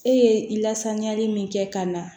E ye i lasaniyali min kɛ ka na